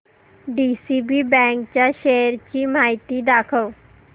DCB bank च्या shares ची माहिती दाखव